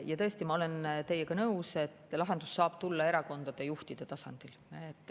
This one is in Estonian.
Jaa, tõesti, ma olen teiega nõus, et lahendus saab tulla erakondade juhtide tasandil.